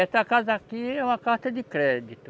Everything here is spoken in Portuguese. Essa casa aqui é uma carta de crédito.